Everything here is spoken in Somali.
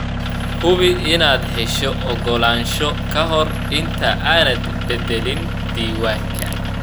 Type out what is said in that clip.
Hubi inaad hesho ogolaansho ka hor inta aanad bedelin diiwaanka.